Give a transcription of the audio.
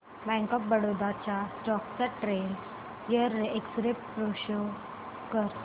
bank of Baroda च्या stock चा ten year x ray pro show कर